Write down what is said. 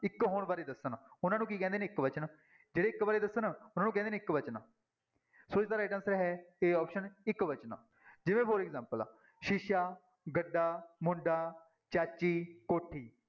ਇੱਕ ਹੋਣ ਬਾਰੇ ਦੱਸਣ, ਉਹਨਾਂ ਨੂੰ ਕੀ ਕਹਿੰਦੇ ਨੇ ਇੱਕਵਚਨ, ਜਿਹੜੇ ਇੱਕ ਬਾਰੇੇ ਦੱਸਣ ਉਹਨਾਂ ਨੂੰ ਕਹਿੰਦੇ ਨੇ ਇੱਕਵਚਨ, ਸੋ ਇਸਦਾ right answer ਹੈ a option ਇੱਕਵਚਨ, ਜਿਵੇਂ for example ਸ਼ੀਸ਼ਾ, ਗੱਡਾ, ਮੁੰਡਾ, ਚਾਚੀ, ਕੋਠੀ।